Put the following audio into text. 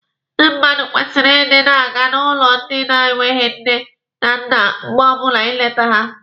Ndị mmadụ kwesịrị ịdị na-aga n'ụlọ ndị na-enweghi nne na nna mgbe ọbụla ịlete ha.